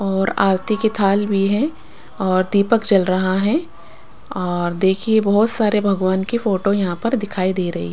और आरती की थाल भी है और दीपक जल रहा है और देखिए बहुत सारे भगवान की फोटो यहाँ पर दिखाई दे रही --